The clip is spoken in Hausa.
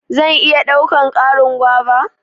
zan iya daukan Karin guava?